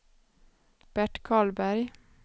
Bert Karlberg